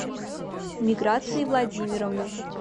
миграции владимировны